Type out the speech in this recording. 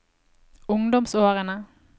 ungdomsårene